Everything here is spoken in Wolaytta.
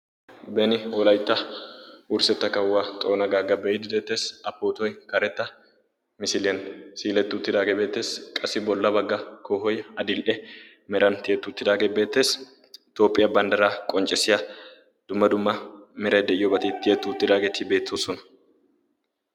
Beni Wolaitta wurssetta kawuwaa xoona gaagga beiddeetees a pootoi karetta misiliyan siilettu tidaagee beetees qassi bolla bagga kohoi adil"e meran tiyettu tidaagee beeteesi itoophphiyaa banddaraa qonccessiya dumma dumma meray de'iyo batii tiyettuu tidaageetii beettoosona.